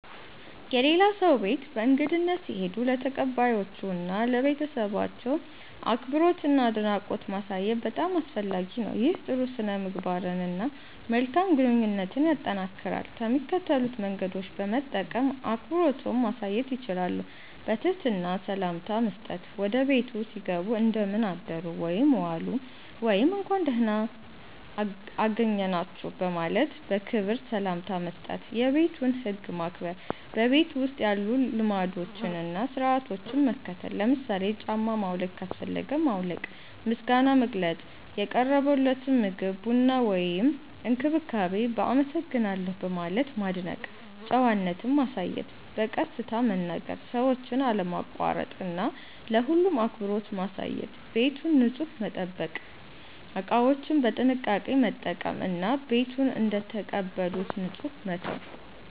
የሌላ ሰው ቤት በእንግድነት ሲሄዱ ለተቀባዮቹ እና ለቤተሰባቸው አክብሮትና አድናቆት ማሳየት በጣም አስፈላጊ ነው። ይህ ጥሩ ሥነ-ምግባርን እና መልካም ግንኙነትን ያጠናክራል። ከሚከተሉት መንገዶች በመጠቀም አክብሮትዎን ማሳየት ይችላሉ፦ በትህትና ሰላምታ መስጠት – ወደ ቤቱ ሲገቡ “እንደምን አደሩ/ዋሉ” ወይም “እንኳን ደህና አገኘናችሁ” በማለት በክብር ሰላምታ መስጠት። የቤቱን ህግ ማክበር – በቤቱ ውስጥ ያሉ ልማዶችን እና ሥርዓቶችን መከተል። ለምሳሌ ጫማ ማውለቅ ካስፈለገ ማውለቅ። ምስጋና መግለጽ – የቀረበልዎትን ምግብ፣ ቡና ወይም እንክብካቤ በ“አመሰግናለሁ” በማለት ማድነቅ። ጨዋነት ማሳየት – በቀስታ መናገር፣ ሰዎችን አለማቋረጥ እና ለሁሉም አክብሮት ማሳየት። ቤቱን ንጹህ መጠበቅ – እቃዎችን በጥንቃቄ መጠቀም እና ቤቱን እንደተቀበሉት ንጹህ መተው።